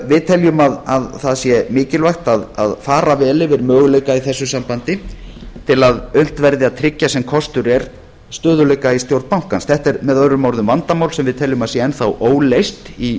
við teljum að það sé mikilvægt að fara vel yfir möguleika í þessu sambandi til að unnt verði að tryggja sem kostur er stöðugleika í stjórn bankans þetta er möo vandamál sem við teljum að sé enn þá óleyst í